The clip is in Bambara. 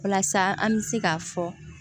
Walasa an bɛ se k'a fɔ